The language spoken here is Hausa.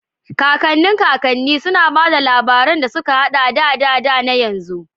Kakanni kakanni, suna ba da labarun da suka haɗa da da da na yanzu.